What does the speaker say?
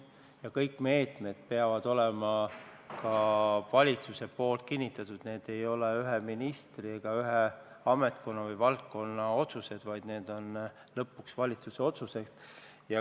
Ja kõik meetmed peavad saama ka valitsuselt kinnituse, need ei ole ühe ministri ega ühe ametkonna või valdkonna otsused, vaid lõpuks on need ikkagi valitsuse otsused.